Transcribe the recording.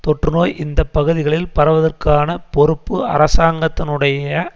தொற்றுநோய் இந்த பகுதிகளில் பரவுவதற்கான பொறுப்பு அரசாங்கத்தினுடைய